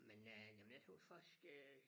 Men øh jamen jeg tøs faktisk øh